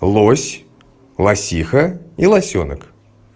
лось лосиха и лосёнок